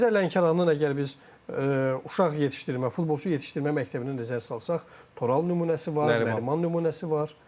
Xəzər Lənkəranın əgər biz uşaq yetişdirmə, futbolçu yetişdirmə məktəbinə nəzər salsaq, Toral nümunəsi var, Nəriman nümunəsi var.